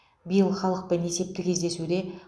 биыл халықпен есепті кездесуде